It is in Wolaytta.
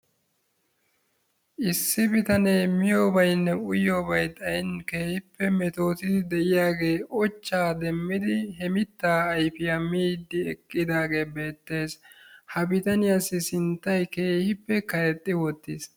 issi bitane miyobaynne uyiyoobay xayin metootidi de'iyagee ochaa demidi he mitaa ayfiya miidi eqqidaagee beetees. ha bitaniyassi sinttay keehippe karexxi wottiis.